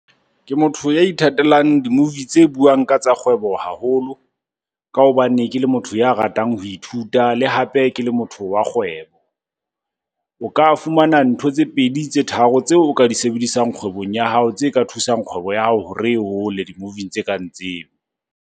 Ke motho ya ithatelang di-movie tse buang ka tsa kgwebo haholo, ka hobane ke le motho ya ratang ho ithuta le hape ke le motho wa kgwebo. O ka fumana ntho tse pedi, tse tharo tseo o ka di sebedisang kgwebong ya hao. Tse ka thusang kgwebo ya hao hore e hole di-movie-ing tse kang tseo.